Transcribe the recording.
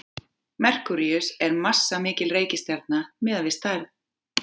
merkúríus er massamikil reikistjarna miðað við stærð